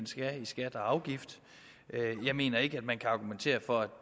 skal i skatter og afgifter jeg mener ikke at man kan argumentere for at